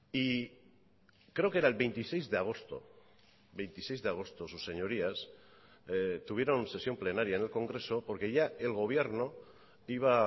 y creo que era el veintiséis de agosto veintiséis de agosto sus señorías tuvieron sesión plenaria en el congreso porque ya el gobierno iba